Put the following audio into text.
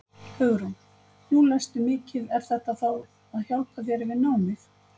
Hugrún: Nú lestu mikið er þetta þá að hjálpa þér við námið?